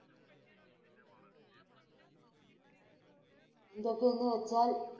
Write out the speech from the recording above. എന്തൊക്കെയെന്നു വച്ചാൽ,